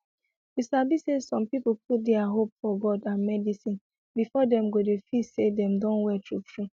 you sabi say some people put dia hope for god and medicine before dem go dey feel say dem Accepted well true true